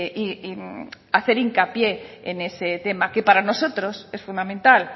y hacer hincapié en ese tema que para nosotros es fundamental